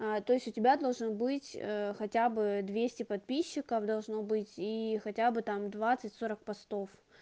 а то есть у тебя должен быть хотя бы двести подписчиков должно быть и хотя бы там двадцать сорок постов